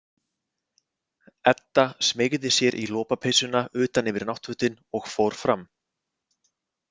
Edda smeygði sér í lopapeysuna utan yfir náttfötin og fór fram.